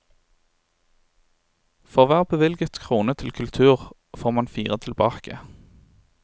For hver bevilget krone til kultur får man fire tilbake.